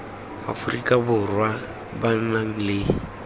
aforika borwa ba nang le